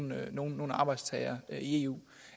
nogen arbejdstagere i eu